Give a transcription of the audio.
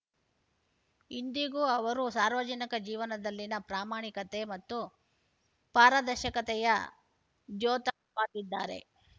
ಇಂದಿಗೂ ಅವರು ಸಾರ್ವಜನಿಕ ಜೀವನದಲ್ಲಿನ ಪ್ರಾಮಾಣಿಕತೆ ಮತ್ತು ಪಾರದರ್ಶಕತೆಯ ದ್ಯೋತಕವಾಗಿದ್ದಾರೆ